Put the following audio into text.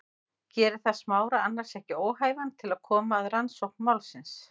Gerir það Smára annars ekki óhæfan til að koma að rannsókn málsins?